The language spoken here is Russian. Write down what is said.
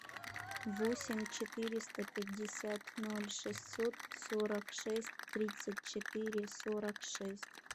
восемь четыреста пятьдесят ноль шестьсот сорок шесть тридцать четыре сорок шесть